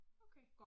Okay